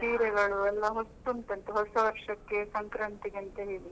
ಸೀರೆಗಳು ಎಲ್ಲ ಹೊಸ್ತು ಉಂಟಂತೆ ಹೊಸ ವರ್ಷಕ್ಕೆ, ಸಂಕ್ರಾಂತಿಗೆ ಅಂತ ಹೇಳಿ.